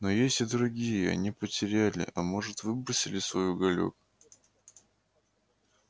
но есть и другие они потеряли а может выбросили свой уголёк